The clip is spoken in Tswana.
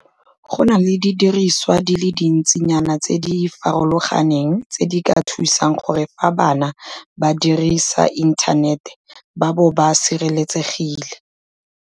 Go na le didiriswa di le dintsinyana tse di farologaneng tse di ka thusang gore fa bana ba dirisa inthanete ba bo ba sireletsegile.